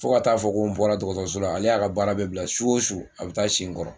Fo ka taa fɔ ko n bɔra dɔgɔtɔso la ale y'a ka baara bɛ bila su o su a bɛ taa si n kɔrɔ.